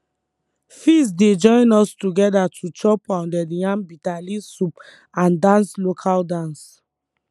feast dey join us together to chop pounded yam bitterleaf soup and dance local dance